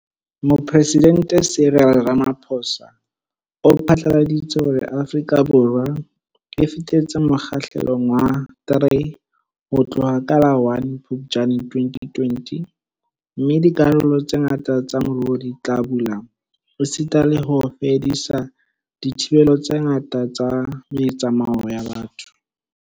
Mopresidente Cyril Ramaphosa o phatlaladitse hore Afrika Borwa e fetetse Mo kgahlelong wa 3 ho tloha ka la 1 Phuptjane 2020 - mme dikarolo tse ngata tsa moruo di tla bula esita le ho fedisa dithibelo tse ngata tsa me tsamao ya batho.